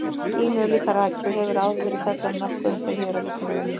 Skýin eru líka raki og hefur áður verið fjallað nokkuð um þau hér á Vísindavefnum.